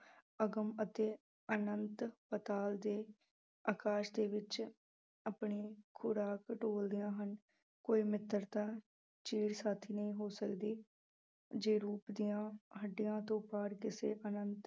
ਅਗਮ ਅਤੇ ਅਨੰਤ ਪਤਾਲ ਦੇ ਅਕਾਸ ਦੇ ਵਿੱਚ ਆਪਣੀ ਖੁਰਾਕ ਟੋਲਦੀਆਂ ਹਨ, ਕੋਈ ਮਿੱਤਰਤਾ ਚਿਰ ਸਾਥੀ ਨਹੀਂ ਹੋ ਸਕਦੀ ਜੇ ਰੂਪ ਦੀਆਂ ਹੱਡੀਆਂ ਤੋਂ ਪਾਰ ਕਿਸੇ ਆਨੰਤ